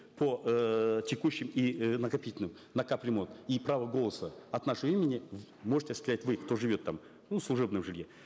по эээ текущим и э накопительным на кап ремонт и право голоса от нашего имени можете осуществлять вы кто живет там ну в служебном жилье